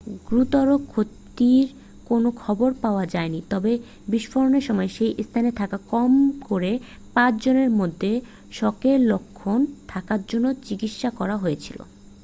গুরুতর ক্ষতির কোন খবর পাওয়া যায়নি তবে বিস্ফোরণের সময় সেই স্থানে থাকা কম করে পাঁচ জনের মধ্যে শকের লক্ষণ থাকার জন্য চিকিৎসা করা হয়েছিল